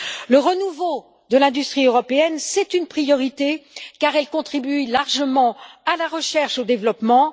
Le renouveau de l'industrie européenne est une priorité, car notre industrie contribue largement à la recherche et développement.